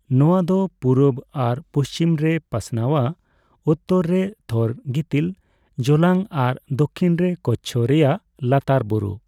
ᱱᱚᱣᱟ ᱫᱚ ᱯᱩᱨᱩᱵᱽ ᱟᱨ ᱯᱩᱪᱷᱤᱢ ᱨᱮ ᱯᱟᱥᱱᱟᱣᱟ, ᱩᱛᱛᱚᱨ ᱨᱮ ᱛᱷᱚᱨ ᱜᱤᱛᱤᱞ ᱡᱚᱞᱟᱝ ᱟᱨ ᱫᱚᱠᱷᱤᱱ ᱨᱮ ᱠᱚᱪᱪᱷᱚ ᱨᱮᱭᱟᱜ ᱞᱟᱛᱟᱨ ᱵᱩᱨᱩ ᱾